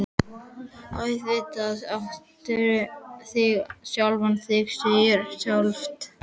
Auðvitað áttu þig sjálf, það segir sig sjálft.